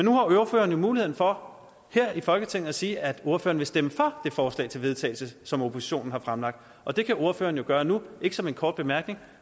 har ordføreren jo mulighed for her i folketinget at sige at ordføreren vil stemme for det forslag til vedtagelse som oppositionen har fremlagt og det kan ordføreren gøre nu ikke som en kort bemærkning